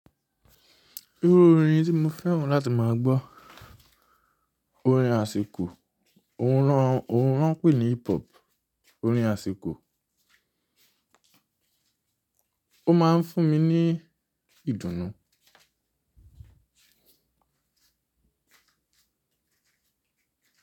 Irú orin tí mo fẹ́ràn láti máa gbọ́ orin àsìkò, òun lọ n, òun lọ n pè ní hip hop, orin àsìkò. Ó máa ń fún mi ní ìdùnnú.